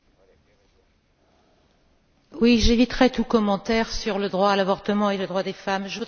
Monsieur Mitchell, j'éviterai tout commentaire sur le droit à l'avortement et le droit des femmes. Je voudrais juste vous poser une question.